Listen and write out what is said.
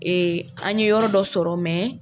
an ɲe yɔrɔ dɔ sɔrɔ